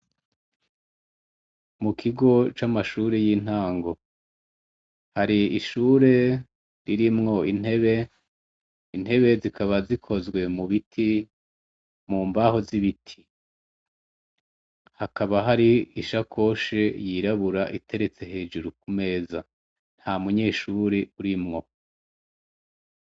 Mu kigo c'amashuri y'intango hari ishure ririmwo intebe intebe zikaba zikozwe mu biti mu mbaho z'ibiti hakaba hari ishakoshe yirabura iteretse hejuru ku meza nta munyeshubure urimwo.